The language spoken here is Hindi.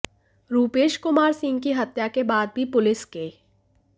रुपेश कुमार सिंह की हत्या के बाद भी पुलिस के